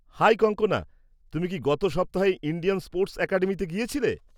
High Kankana, তুমি কি গত সপ্তাহে ইন্ডিয়ান স্পোর্টস অ্যাকাডেমিতে গিয়েছিলে?